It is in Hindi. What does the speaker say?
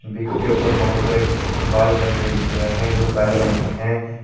विग के ऊपर बहुत सारे बाल लगे हुए है जो काले रंग के हैं।